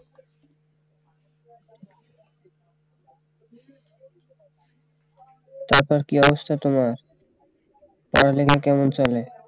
তারপর কি অবস্থা তোমার পড়ালেখা কেমন চলে